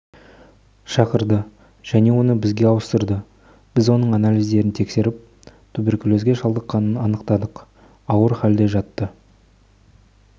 шақырды және оны бізге ауыстырды біз оның анализдерін тексеріп туберкулезге шалдыққанын анықтадық ауыр халде жатты